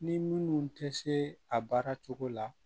Ni minnu tɛ se a baara cogo la